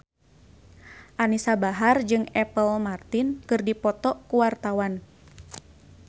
Anisa Bahar jeung Apple Martin keur dipoto ku wartawan